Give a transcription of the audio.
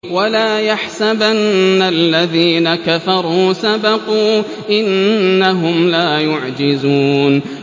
وَلَا يَحْسَبَنَّ الَّذِينَ كَفَرُوا سَبَقُوا ۚ إِنَّهُمْ لَا يُعْجِزُونَ